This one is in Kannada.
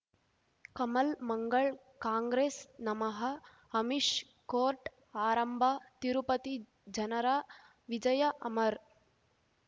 ಕಮಲ್ ಮಂಗಳ್ ಕಾಂಗ್ರೆಸ್ ನಮಃ ಅಮಿಷ್ ಕೋರ್ಟ್ ಆರಂಭ ತಿರುಪತಿ ಜನರ ವಿಜಯ ಅಮರ್